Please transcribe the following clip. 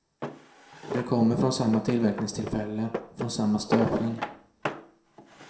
De kommer från samma tillverkningstillfälle, från samma stöpning.